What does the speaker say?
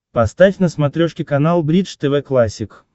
поставь на смотрешке канал бридж тв классик